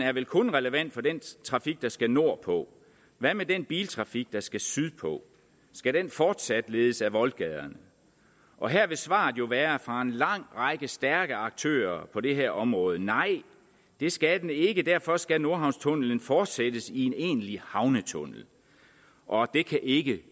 er vel kun relevant for den trafik der skal nordpå hvad med den biltrafik der skal sydpå skal den fortsat ledes ad voldgaderne og her vil svaret jo være fra en lang række stærke aktører på det her område nej det skal den ikke og derfor skal nordhavnstunnelen fortsættes i en egentlig havnetunnel og det kan ikke